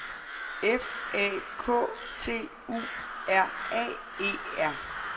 F A K T U R A E R